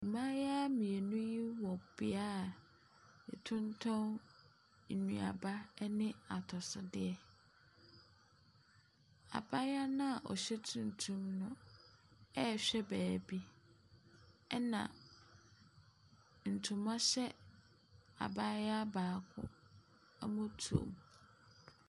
Mmaayewa mmienu wɔ bea yɛtontɔn nnuaba ɛne atɔsodeɛ, abaayewa no a ɔhyɛ tuntum no ɛrehwɛ beebi, ɛna ntoma hyɛ abaayewa baako amɔtoam.